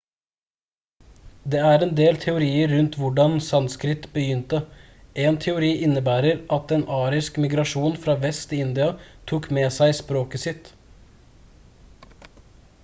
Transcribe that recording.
det er en del teorier rundt hvordan sanskrit begynte en teori innebærer at en arisk migrasjon fra vest i india tok med seg språket sitt